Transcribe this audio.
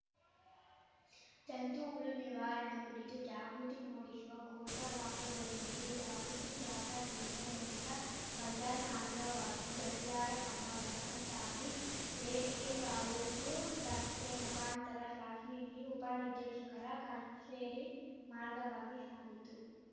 ಜಂತು ಹುಳು ನಿವಾರಣೆ ಕುರಿತು ಜಾಗೃತಿ ಮೂಡಿಶುವ ಘೋಷವಾಕ್ಯಗಳೊಂದಿಗೆ ಜಾಗೃತಿ ಜಾಥಾ ಇಲ್ಲಿನ ಜನತಾ ಬಜಾರ್ ಮಾರ್ಗವಾಗಿ ಗಡಿಯಾರ ಕಂಬ ವಸಂತ ಟಾಕೀಸ್‌ ಎವಿಕೆ ಕಾಲೇಜು ರಸ್ತೆ ಮುಖಾಂತರ ಸಾಶಿಇ ಉಪನಿರ್ದೇಶಕರ ಕಚೇರಿ ಮಾರ್ಗವಾಗಿ ಶಾಗಿತು